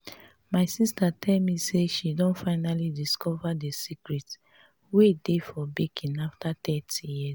my sister tell me me say she don finally discover the secret wey dey for baking after thirty years